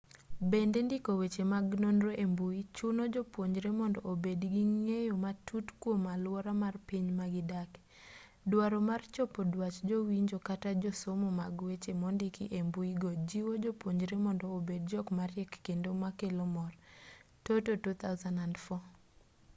bende ndiko weche mag nonro e mbui chuno jopuonjre mondo obed gi ng'eyo matut kwom aluora mar piny magidake”. duaro mar chopo dwach jowinjo kata josomo mag weche mondiki e mbuigo jiwo jopuonjre mondo obed jok mariek kendo makelo mor toto 2004